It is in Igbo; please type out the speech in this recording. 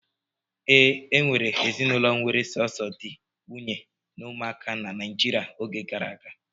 Ee, e nwere ezinụlọ were sọsọ di, nwunye na ụmụaka na Naịjirịa n'oge gara aga.